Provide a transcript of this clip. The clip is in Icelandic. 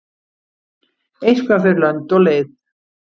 Eitthvað fer lönd og leið